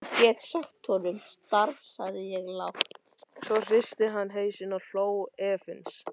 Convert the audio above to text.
Svo hristi hann hausinn og hló efins.